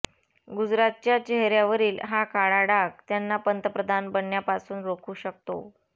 गुजरातच्या चेहर्यावरील हा काळा डाग त्यांना पंतप्रधान बनण्यापासून रोखू शकतो